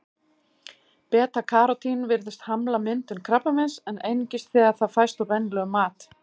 Beta-karótín virðist hamla myndun krabbameins, en einungis þegar það fæst úr venjulegum mat.